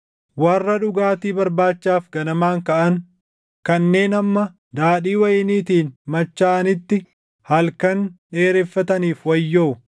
Warra dhugaatii barbaachaaf ganamaan kaʼan, kanneen hamma daadhii wayiniitiin machaaʼanitti halkan dheereffataniif wayyoo.